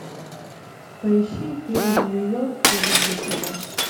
поищи фильм нью йорк я люблю тебя